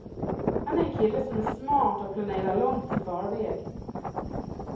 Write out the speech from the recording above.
Han är en kille som är smart och planerar långt i förväg.